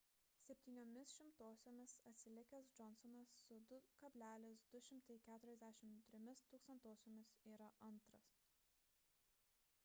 septyniomis šimtosiomis atsilikęs johnsonas su 2,243 yra antras